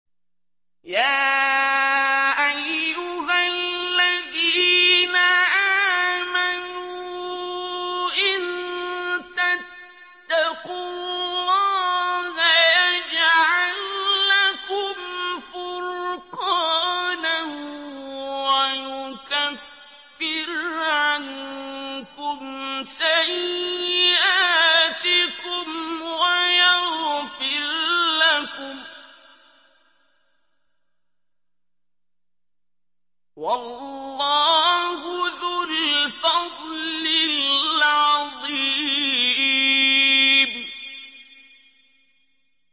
يَا أَيُّهَا الَّذِينَ آمَنُوا إِن تَتَّقُوا اللَّهَ يَجْعَل لَّكُمْ فُرْقَانًا وَيُكَفِّرْ عَنكُمْ سَيِّئَاتِكُمْ وَيَغْفِرْ لَكُمْ ۗ وَاللَّهُ ذُو الْفَضْلِ الْعَظِيمِ